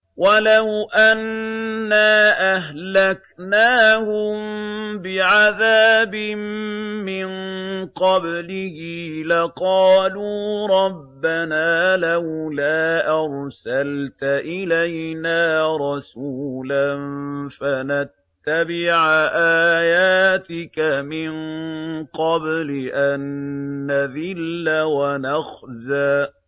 وَلَوْ أَنَّا أَهْلَكْنَاهُم بِعَذَابٍ مِّن قَبْلِهِ لَقَالُوا رَبَّنَا لَوْلَا أَرْسَلْتَ إِلَيْنَا رَسُولًا فَنَتَّبِعَ آيَاتِكَ مِن قَبْلِ أَن نَّذِلَّ وَنَخْزَىٰ